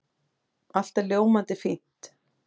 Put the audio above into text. Allt er ljómandi fínt.